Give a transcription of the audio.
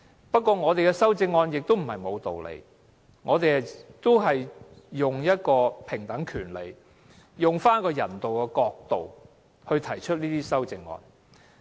不過，我們的修正案也並非沒有道理，我們是以平等權利和人道的角度來提出這些修正案。